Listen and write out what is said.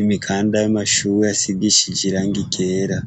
imikanda y'amashure asigishije irangi ryera.